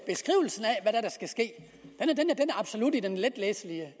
er der skal ske absolut er i den letlæselige